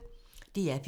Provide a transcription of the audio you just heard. DR P1